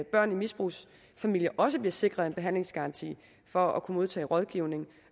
børn i misbrugsfamilier også bliver sikret en behandlingsgaranti for at kunne modtage rådgivning